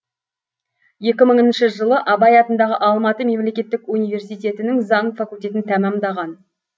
екі мыңыншы жылы абай атындағы алматы мемлекеттік университетінің заң факультетін тәмамдаған